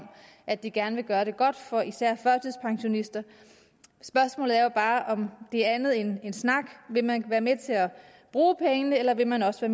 at de gerne vil gøre det godt for især førtidspensionister spørgsmålet er bare om det er andet end snak vil man være med til at bruge pengene eller vil man også